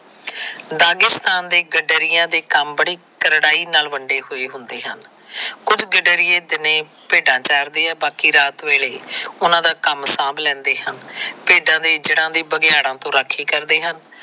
Dagestan ਦੇ ਗਡਰਿਆਂ ਦੇ ਕੰਮ ਬੜੀ ਕਰੜਾਈ ਨਾਲ ਵੰਡੇ ਹੋਏ ਹੁੰਦੇ ਹਨ। ਕੁਝ ਗਡਰੀਏ ਦਿਨੇ ਭੇਡਾਂ ਚਾਰਦੇ ਆਂ ਤੇ ਬਾਕੀ ਰਾਤ ਵੇਲੇ ਉਹਨਾ ਦੇ ਕੰਮ ਸਾਂਭ ਲੈਦੇ ਹਨ। ਭੇਡਾਂ ਦੇ ਇੱਜੜਾਂ ਦੀ ਬਘਿਆੜਾਂ ਤੋਂ ਰਾਖੀ ਕਰਦੇ ਹਨ।